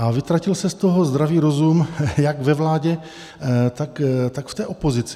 A vytratil se z toho zdravý rozum jak ve vládě, tak v té opozici.